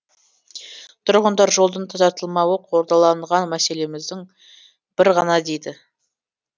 тұрғындар жолдың тазартылмауы қордаланған мәселеміздің бірі ғана дейді